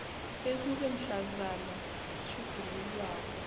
bekube mhlazana itjhugululwako